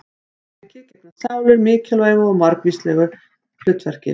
Í grískri heimspeki gegna sálir mikilvægu og margvíslegu hlutverki.